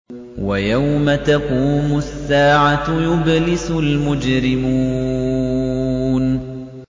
وَيَوْمَ تَقُومُ السَّاعَةُ يُبْلِسُ الْمُجْرِمُونَ